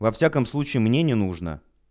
во всяком случае мне не нужно